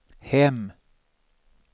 hem